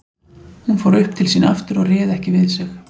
Hún fór upp til sín aftur og réð ekki við sig.